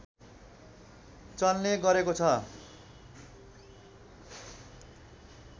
चल्ने गरेको छ